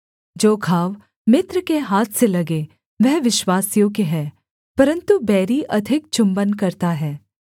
जो घाव मित्र के हाथ से लगें वह विश्वासयोग्य हैं परन्तु बैरी अधिक चुम्बन करता है